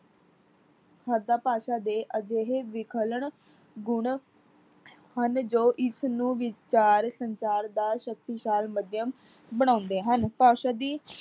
ਸੱਦਾ ਭਾਸ਼ਾ ਦੇ ਅਜਿਹੇ ਵਿਖਲਣ, ਗੁਣ ਹਨ ਜੋ ਇਸਨੂੰ ਵਿਚਾਰ ਸੰਚਾਰ ਦਾ ਸ਼ਕਤੀਸਾਰ ਮਾਧਿਅਮ ਬਣਾਉਂਦੇ ਹਨ। ਭਾਸ਼ਾ ਦੀ